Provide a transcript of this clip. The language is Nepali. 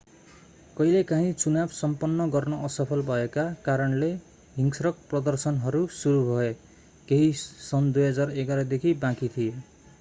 कहिलेकाँही चुनाव सम्पन्न गर्न असफल भएका कारणले हिंस्रक प्रदर्शनहरू सुरु भए केही सन् 2011 देखि बाँकी थिए